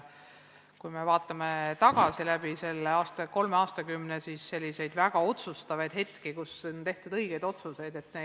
Kui me vaatame tagasi, läbi selle kolme aastakümne, siis selliseid väga otsustavaid hetki, kus on tehtud õigeid otsuseid, on ikka väga palju.